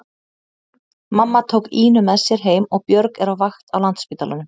Mamma tók Ínu með sér heim og Björg er á vakt á Landspítalanum.